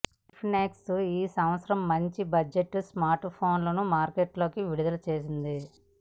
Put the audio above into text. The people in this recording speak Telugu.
ఇన్ఫినిక్స్ ఈ సంవత్సరం మంచి బడ్జెట్ స్మార్ట్ ఫోన్లను మార్కెట్ లో విడుదల చేసింది